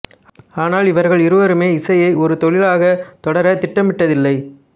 ஆனால் இவர்கள் இருவருமே இசையை ஒரு தொழிலாகத் தொடரத் திட்டமிட்டதில்லை